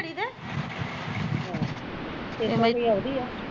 ਛੇ ਸੋ ਈ ਰੁਪਿਆ ਉਹਦੀ ਆ